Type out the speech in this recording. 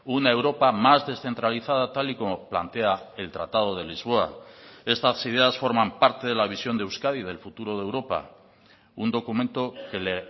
una europa más descentralizada tal y como plantea el tratado de lisboa estas ideas forman parte de la visión de euskadi y del futuro de europa un documento que le